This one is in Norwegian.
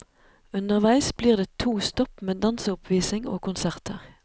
Underveis blir det to stopp med danseoppvisning og konserter.